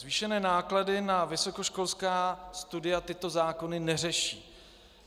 Zvýšené náklady na vysokoškolská studia tyto zákony neřeší.